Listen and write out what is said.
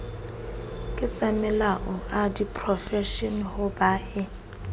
ketsamelao a diprofense ho bea